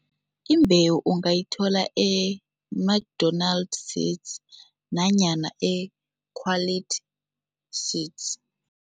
Imbewu ungayithola e-McDonald Seeds nanyana e-Quality Seeds.